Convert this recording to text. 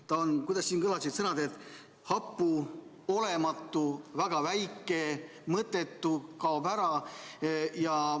See on – kuidas need sõnad kõlasid – hapu, olematu, väga väike, mõttetu, kaob ära.